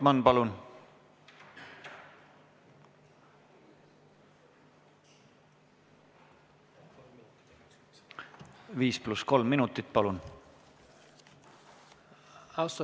Mihhail Lotman, 5 + 3 minutit, palun!